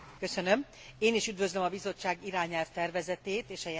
Én is üdvözlöm a Bizottság irányelvtervezetét és a jelentést.